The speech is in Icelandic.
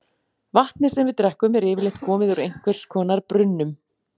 Vatnið sem við drekkum er yfirleitt komið úr einhvers konar brunnum.